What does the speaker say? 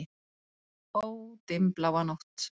Ó, dimmbláa nótt!